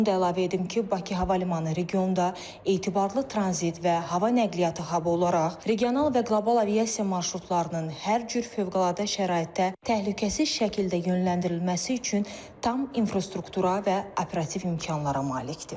Onu da əlavə edim ki, Bakı Hava Limanı regionda etibarlı tranzit və hava nəqliyyatı habu olaraq regional və qlobal aviasiya marşrutlarının hər cür fövqəladə şəraitdə təhlükəsiz şəkildə yönləndirilməsi üçün tam infrastruktura və operativ imkanlara malikdir.